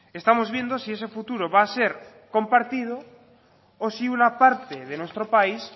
estamos viendo si ese futuro va a ser compartido o si una parte de nuestro país